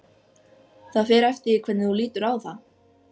Það fer eftir því hvernig þú lítur á það.